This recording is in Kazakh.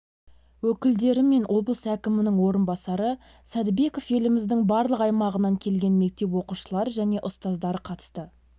өкілдері мен облыс әкімінің орынбасары сәдібеков еліміздің барлық аймағынан келген мектеп оқушылары және ұстаздар қатысты